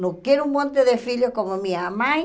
Não quero um monte de filhos como minha mãe.